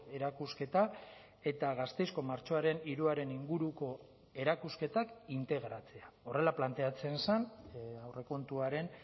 erakusketa eta gasteizko martxoaren hiruaren inguruko erakusketak integratzea horrela planteatzen zen aurrekontuaren